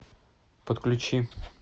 подключи